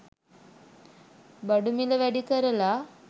බඩු මිල වැඩි කරලා.